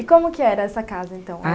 E como que era essa casa, então?